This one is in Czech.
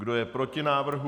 Kdo je proti návrhu?